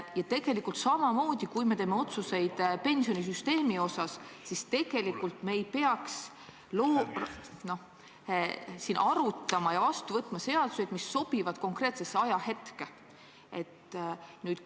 Ja tegelikult samamoodi, kui me teeme otsuseid pensionisüsteemi kohta, siis me ei peaks siin arutama ja vastu võtma seaduseid, mis sobivad konkreetsesse ajahetke.